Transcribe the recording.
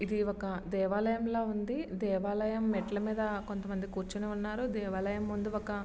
ఇది ఒక దేవాలయంగా ఉంది దేవాలయం మెట్లు మీద కొంత మంది కూచొని ఉన్నారు దేవాలయము ముందు ఒక